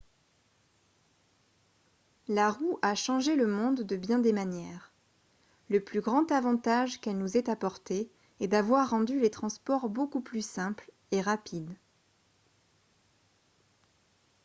la roue a changé le monde de bien des manières le plus grand avantage qu'elle nous ait apporté est d'avoir rendu les transports beaucoup plus simples et rapides